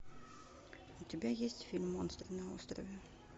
у тебя есть фильм монстры на острове